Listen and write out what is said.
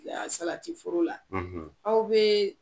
Yan Salati foro la aw bee